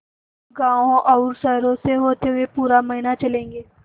गाँवों और शहरों से होते हुए पूरा महीना चलेंगे